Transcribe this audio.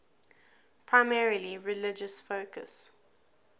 primarily religious focus